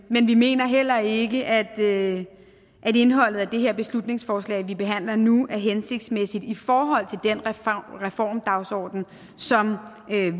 mener heller ikke at indholdet af det her beslutningsforslag vi behandler nu er hensigtsmæssigt i forhold til den reformdagsorden som